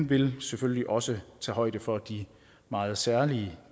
vil selvfølgelig også tage højde for de meget særlige